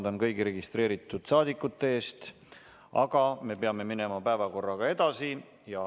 Vabandan kõigi registreeritud saadikute ees, aga me peame minema päevakorraga edasi.